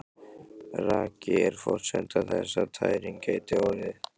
Raki er forsenda þess að tæring geti orðið.